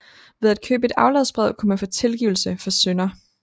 Ved at købe et afladsbrev kunne man få tilgivelse for synder